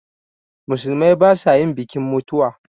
Musulmai ba sa yin bikin mutuwa